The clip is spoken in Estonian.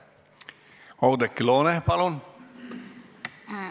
Oudekki Loone, palun!